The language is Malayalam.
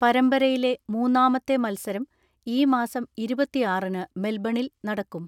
പരമ്പരയിലെ മൂന്നാമത്തെ മത്സരം ഈ മാസം ഇരുപത്തിആറിന് മെൽബണിൽ നടക്കും.